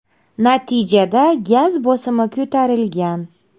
Natijada gaz bosimi ko‘tarilgan.